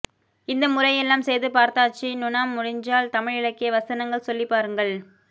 இந்த முறையெல்லாம் செய்து பார்த்தாச்சு நுணா முடிஞ்சால் தமிழ் இலக்கிய வசனங்கள் சொல்லி பாருங்கள்